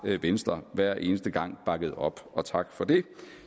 venstre hver eneste gang bakket op og tak for det